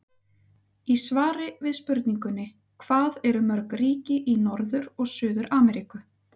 Í svari við spurningunni Hvað eru mörg ríki í Norður- og Suður-Ameríku?